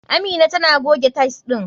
Amina tana goge tile ɗin.